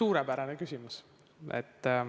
Suurepärane küsimus.